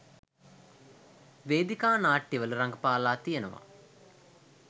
වේදිකා නාට්‍යවල රඟපාලා තියෙනවා.